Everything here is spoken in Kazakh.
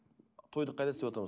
тойды қайда істеватырмыз